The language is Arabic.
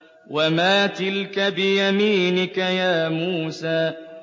وَمَا تِلْكَ بِيَمِينِكَ يَا مُوسَىٰ